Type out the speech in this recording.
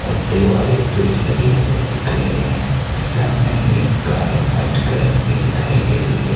पत्ते वाले पेड़ लगे हुए दिख रहे हैं सामने ही एक कार व्हाइट कलर की दिखाई दे रही है।